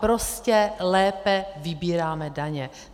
Prostě lépe vybíráme daně.